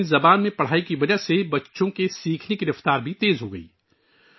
اپنی زبان میں تعلیم کی وجہ سے بچوں کے سیکھنے کی رفتار بھی بڑھ گئی